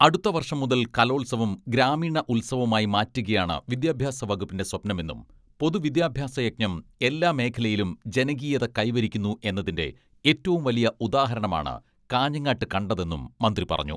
അടുത്ത വർഷം മുതൽ കലോത്സവം ഗ്രാമീണ ഉത്സവമായി മാറ്റുകയാണ് വിദ്യാഭ്യാസ വകുപ്പിന്റെ സ്വപ്നമെന്നും പൊതുവിദ്യാഭ്യാസ യജ്ഞം എല്ലാ മേഖലയിലും ജനകീയത കൈവരിക്കുന്നു എന്നതിന്റെ ഏറ്റവും വലിയ ഉദാഹ രണമാണ് കാഞ്ഞങ്ങാട്ട് കണ്ടത് എന്നും മന്ത്രി പറഞ്ഞു.